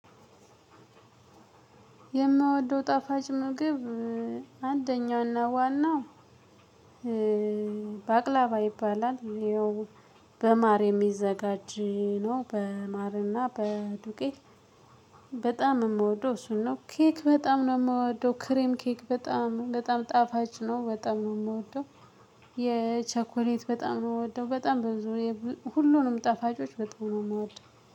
የምወደው ጣፋጭ ምግብ አንደኛውና ዋናው። በባቅላባ ይባላል ይኸው በማር የሚዘጋጅ ነው በማርና በዱቄት። በጣም የምወደው እሱን ነው ኬክ በጣም ነው የምወደው ክሬም ኬክ በጣም በጣም ጣፋጭ ነው በጣም ነው የምወደው። የቸኮሌት በጣም ነው የምወደው በጣም ብዙ ሁሉንም ጠፋጮች በጣም ነው የምወደው